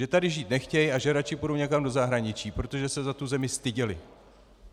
Že tady žít nechtějí a že radši půjdou někam do zahraničí, protože se za tu zemi styděli.